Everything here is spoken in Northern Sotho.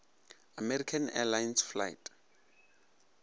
american airlines flight